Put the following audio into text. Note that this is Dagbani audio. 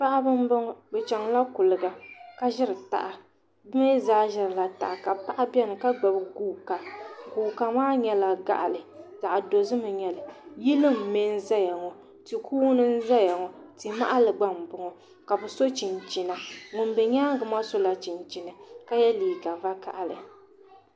Paɣibi n bɔŋɔ bi chaŋla kuliga ka ziri taha bi mi zaa ziri la taha ka gbubi guuka guuka maa yɛla baɣili vaɣi dozim n yɛli yili n nmɛ ziya ti kuuni n zaya ŋɔ ti mahali gba n bɔŋɔ ka bi so chinchina ŋuni bɛ yɛanga maa sola chinchini ka yiɛ liiga vakahali.